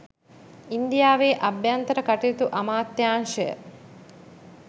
ඉන්දියාවේ අභ්‍යන්තර කටයුතු අමාත්‍යාංශය